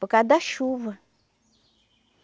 Por causa da chuva.